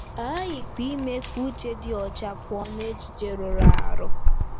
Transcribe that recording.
A ghaghịkwa ime ka uche dị ọcha pụọ n'echiche rụrụ arụ.